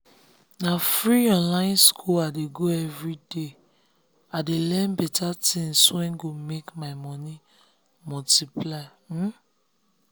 na free online school i dey go everyday i dey learn better things wey go make my money multiply.